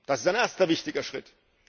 Das ist ein erster wichtiger Schritt.